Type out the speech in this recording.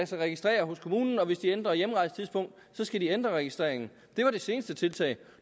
sig registrere hos kommunen og hvis de ændrer hjemrejsetidspunkt skal de ændre registreringen det var det seneste tiltag